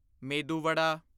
ਮੇਦੂ ਵਡਾ